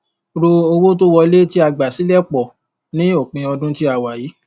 ro owó tó wọlé tí a gbà silẹ pọ ní òpin ọdún tí a wà yìí